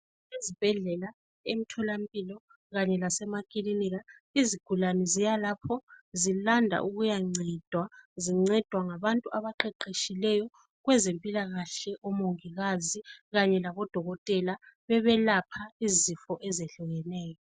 esibhedlela emtholampilo kanye lasemakilinika izigulane ziyalapho zilanda ukuyancedwa zincedwa ngabantu abaqeqetshileyo kwezempilakahle omongikazi kanye labodokotela bebelapha izifo ezehlukeneyo